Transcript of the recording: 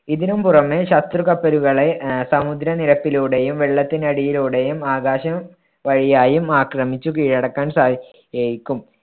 ഇതിനും പുറമേ ശത്രു കപ്പലുകളെ ആഹ് സമുദ്രനിരപ്പിലൂടെയും വെള്ളത്തിനടിയിലൂടെയും ആകാശം വഴിയായും ആക്രമിച്ചു കീഴടക്കാൻ സാധിച്ചേക്കും.